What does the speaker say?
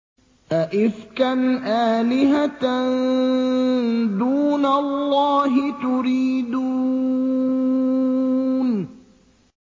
أَئِفْكًا آلِهَةً دُونَ اللَّهِ تُرِيدُونَ